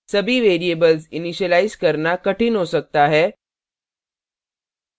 सभी variables initialise करना कठिन हो सकता है